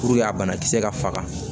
a banakisɛ ka faga